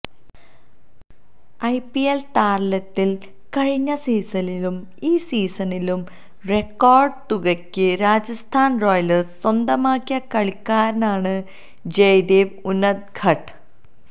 IPL താരലലേത്തില് കഴിഞ്ഞ സീസണിലും ഈ സീസണിലും റെക്കോര്ഡ് തുകയ്ക്ക് രാജസ്ഥാന് റോയല്സ് സ്വന്തമാക്കിയ കളിക്കാരനാണ് ജയദേവ് ഉനദ്ഘട്